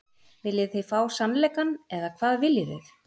Viljið þið fá sannleikann eða hvað viljið þið?